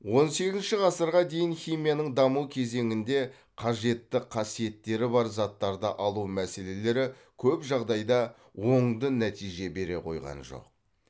он сегізінші ғасырға дейінгі химияның даму кезеңінде қажетті қасиеттері бар заттарды алу мәселелері көп жағдайда оңды нәтиже бере қойған жоқ